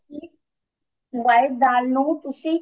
white ਦਾਲ ਨੂੰ ਤੁਸੀਂ